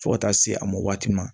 Fo ka taa se a mɔ waati ma